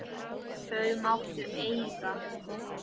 Það máttu eiga.